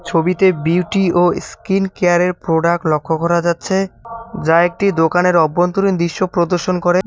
ছবিতে বিউটি ও ইস্কিন কেয়ারের প্রোডাক্ট লক্ষ্য করা যাচ্ছে যা একটি দোকানের অভ্যন্তরীণ দৃশ্য প্রদর্শন করে।